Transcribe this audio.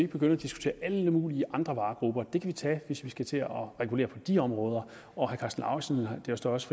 begynde at diskutere alle mulige andre varegrupper det kan vi tage hvis vi skal til at regulere på de områder og det står også